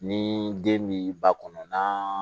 Ni den bi ba kɔnɔ na